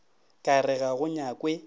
ka re ga go nyakwe